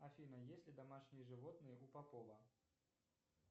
афина есть ли домашние животные у попова